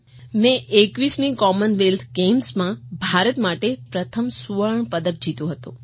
મેં 21મી કોમનવેલ્થ ગેમ્સમાં ભારત માટે પ્રથમ સુવર્ણ પદક જીત્યો હતો